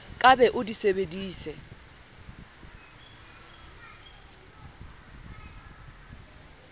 ka be o di sebeditse